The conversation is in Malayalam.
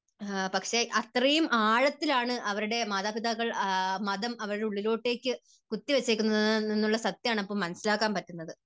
പക്ഷേ അത്രയും ആഴത്തിൽ ആണ് അവരുടെ മാതാപിതാക്കൾ മതം അവരുടെ ഉള്ളിലോട്ടേക്ക് കുത്തി വെച്ചേക്കുന്നത് എന്നുള്ള ഒരു സത്യം ആണ് അപ്പോൾ മനസ്സിലാക്കാൻ പറ്റുന്നത്.